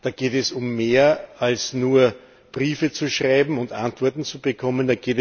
Da geht es um mehr, als nur Briefe zu schreiben und Antworten zu bekommen.